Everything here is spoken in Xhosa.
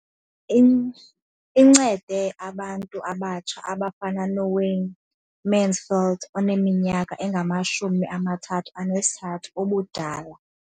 Incede abantu abatsha abafana noWayne Mansfield oneminyaka engama-33 ubudala.